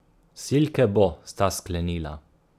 Silke bo, sta sklenila.